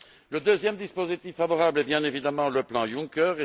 Le deuxième dispositif favorable est, bien évidemment, le plan Juncker.